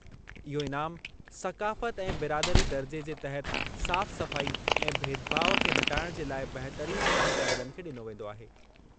इहो इनाम सक़ाफ़ति ऐं बिरादरी दर्जे जे तहत साफ़-सफ़ाई ऐं भेदभाउ खे हटाइणु जे लाइ बहितरीन कम कंदड़नि खे डि॒नो वेंदो आहे।